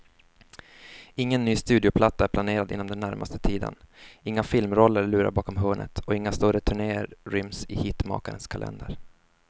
Ingen ny studioplatta är planerad inom den närmaste tiden, inga filmroller lurar bakom hörnet och inga större turnéer ryms i hitmakarens kalender.